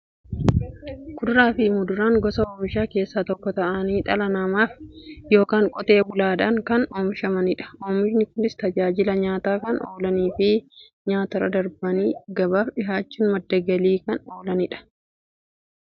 Kuduraafi muduraan gosa oomishaa keessaa tokko ta'anii, dhala namaatin yookiin Qotee bulaadhan kan oomishamaniidha. Oomishni Kunis, tajaajila nyaataf kan oolaniifi nyaatarra darbanii gabaaf dhiyaachuun madda galii kan kennaniidha. Akkasumas nyaataf yeroo oolan, albuuda gosa adda addaa waan qabaniif, fayyaaf barbaachisoodha.